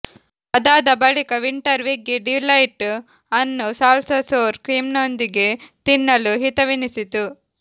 ಆದಾದ ಬಳಿಕ winter veggie delight ಅನ್ನು salsa sour ಕ್ರೀಮ್ನೊಂದಿಗೆ ತಿನ್ನಲು ಹಿತವೆನಿಸಿತು